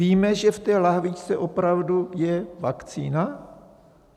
Víme, že v té lahvičce opravdu je vakcína?